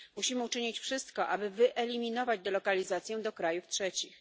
Musimy uczynić wszystko, aby wyeliminować delokalizację do krajów trzecich.